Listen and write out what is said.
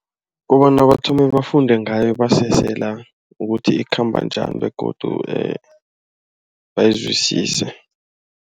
Kobana bathome bafunde ngayo basesela ukuthi ikhamba njani begodu bayizwisise.